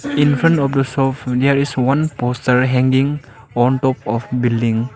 in front of the shop there is one poster hanging on top of building.